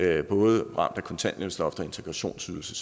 af både kontanthjælpsloft og integrationsydelse